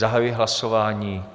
Zahajuji hlasování.